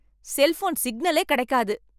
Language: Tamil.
செல்போன் சிக்னலே கிடைக்காது.